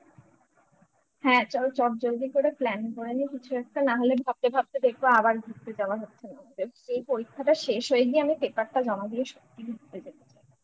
হ্যাঁ চলো চটজলদি করে plan করে নিই কিছু একটা না হলে ভাবতে ভাবতে দেখবো আবার ঘুরতে যাওয়া হচ্ছে না সেই পরীক্ষাটা শেষ হয়ে গিয়ে আমি paper টা জমা দিয়ে সত্যিই ঘুরতে যেতে চাই